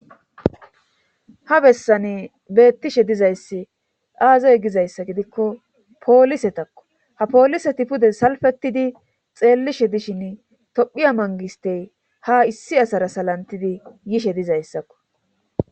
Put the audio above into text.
Ha bessani beettishe dizayssi aazoy gizayssa gidikko poolise takko ha poolise ti pude salfettidi xeellishe dishin tophiya mangistey ha issi asara salantidi yishe dizayssakko